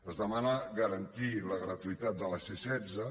es demana garantir la gra·tuïtat de la c·setze